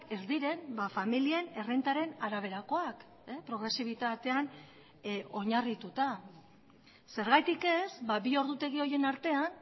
ez diren familien errentaren araberakoak progresibitatean oinarrituta zergatik ez bi ordutegi horien artean